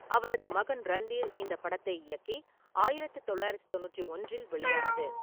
அவரது மகன் ரந்தீர் இந்தப் படத்தை இயக்கி ஆயிரத்து தொள்ளாயிரத்து தொண்ணூற்றி ஒன்றில் வெளியானது.